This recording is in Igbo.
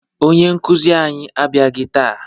Onye nkụzi anyị abịaghị taa